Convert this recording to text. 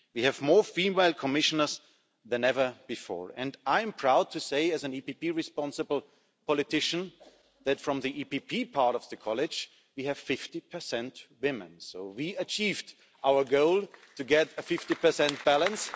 We have more female Commissioners than ever before, and I'm proud to say, as an EPP responsible politician, that from the EPP part of the college, we have 50 women, so we achieved our goal to get a 50 balance.